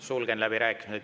Sulgen läbirääkimised.